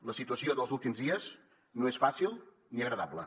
la situació dels últims dies no és fàcil ni agradable